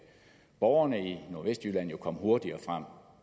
borgerne i nordvestjylland jo komme hurtigere